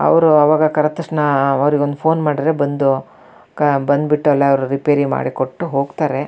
ಅವ್ರು ಅವಾಗ ಕರೆದ ತಕ್ಷಣ ಅವರಿಗೆ ಒಂದು ಫೋನ್ ಮಾಡಿದ್ರೆ ಬಂದ್ ಬಂದ್ ಬಿಟ್ಟು ಎಲ್ಲ ರಿಪೇರಿ ಮಾಡಿ ಕೊಟ್ಟು ಹೋಗ್ತಾರೆ.